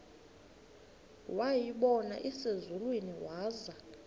wayibona iselusizini waza